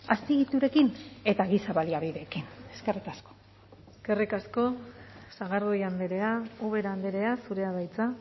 azpiegiturekin eta giza baliabideekin eskerrik asko eskerrik asko sagardui andrea ubera andrea zurea da hitza